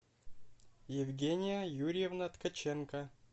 евгения юрьевна ткаченко